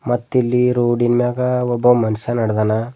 ಮತ್ತಿಲ್ಲಿ ರೋಡಿನ್ ಮ್ಯಾಗ ಒಬ್ಬ ಮನುಷ್ಯ ನಡೆದಾನ.